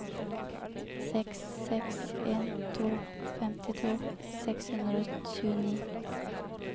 seks seks en to femtito seks hundre og tjueni